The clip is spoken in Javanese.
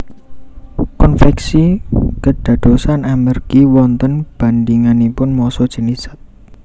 Konveksi kédadosan amergi wonten bandinganipun massa jènis zat